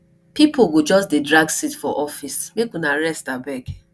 pipo go just dey drag seat for office make una rest abeg